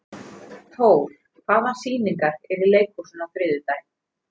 Thór, hvaða sýningar eru í leikhúsinu á þriðjudaginn?